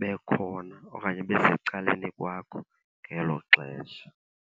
bekhona okanye besecaleni kwakho ngelo xesha.